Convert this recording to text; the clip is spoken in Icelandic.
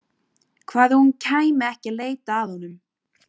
Hvað ef hún kæmi ekki að leita að honum?